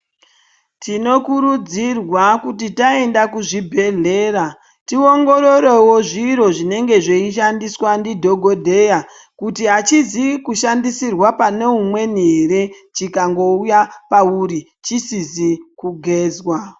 Tinokurudzirwa kuti taenda kuzvibhedhlera tiongororevo zviro zvinenge zveishandiswa ndidhogodheya. Kuti hachizi kushandisirwa pane umweni ere chikangouya pauri chisizi kugezwa.